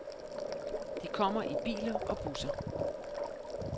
De kommer i biler og busser.